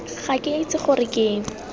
ga ke itse gore ke